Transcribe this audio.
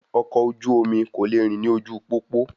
Ọkọ̀ oju-omi kò le rìn ní ojú pópó